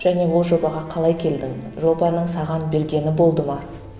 және ол жобаға қалай келдің жобаның саған бергені болды ма